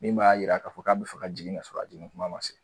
Min b'a yira k'a fɔ k'a be fɛ ka jigin k'a sɔrɔ a jigin kuma ma se